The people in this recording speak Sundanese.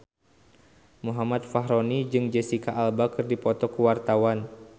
Muhammad Fachroni jeung Jesicca Alba keur dipoto ku wartawan